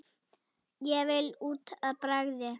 Ég vil út að bragði!